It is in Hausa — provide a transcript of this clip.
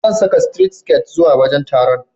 Zan saka sitiret siket zuwa wajen taron.